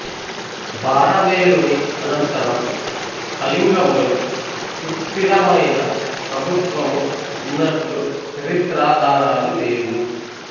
భారవేలుని అనంతరం కళింగములో సుస్థిరమైన ప్రభుత్వము వున్నట్లు చరిత్రాధారాలు లేవు